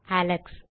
Alex